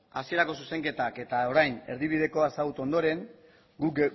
hasierako zuzenketak eta orain erdibidekoa ezagutu ondoren guk